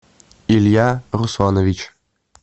илья русланович